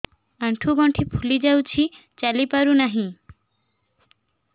ଆଂଠୁ ଗଂଠି ଫୁଲି ଯାଉଛି ଚାଲି ପାରୁ ନାହିଁ